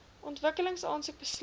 ontwikkeling aansoek besluit